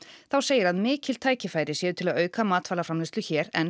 þá segir að mikil tækifæri séu til að auka matvælaframleiðslu hér enn